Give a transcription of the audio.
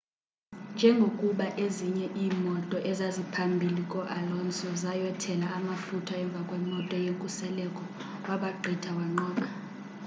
njengokuba ezinye iimoto ezaziphambhili ko-alonso zayothela amafutha emvakwemoto yenkuseleko wabagqitha wanqoba